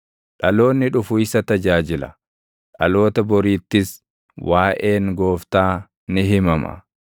Dhaloonni dhufu isa tajaajila; dhaloota boriittis waaʼeen Gooftaa ni himama.